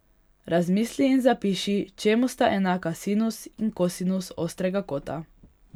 Razmisli in zapiši, čemu sta enaka sinus in kosinus ostrega kota.